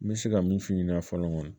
N bɛ se ka min f'i ɲɛna fɔlɔ kɔni